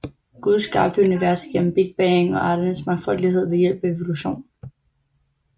Gud skabte universet gennem Big Bang og arternes mangfoldighed ved hjælp af evolution